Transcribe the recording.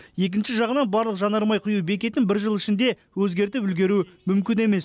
екінші жағынан барлық жанармай құю бекетін бір жыл ішінде өзгертіп үлгеру мүмкін емес